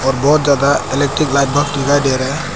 और बहुत ज्यादा इलेक्ट्रिक लाइट बल्ब दिखाई दे रहे हैं।